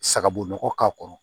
Sagabo nɔgɔ k'a kɔrɔ